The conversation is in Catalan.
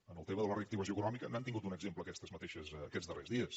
en el tema de la reactivació econòmica n’han tingut un exemple aquests darrers dies